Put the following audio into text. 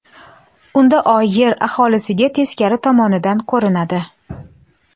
Unda Oy Yer aholisiga teskari tomonidan ko‘rinadi.